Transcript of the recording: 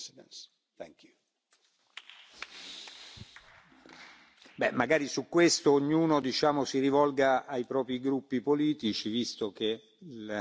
Magari su questo ognuno si rivolga ai propri gruppi politici, visto che i dibattiti vengono decisi dagli uffici di presidenza.